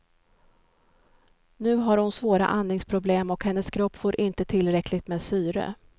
Nu har hon svåra andningsproblem och hennes kropp får inte tillräckligt med syre.